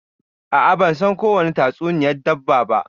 A'a ban san kowani tatsuniyan dabba ba.